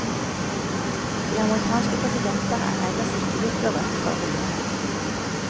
De amerikanske presidenter er ellers ikke blitt berømte for hundehold.